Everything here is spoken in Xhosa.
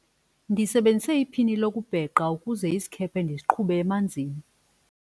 ndisebenzise iphini lokubhexa ukuze isikhephe ndisiqhube emanzini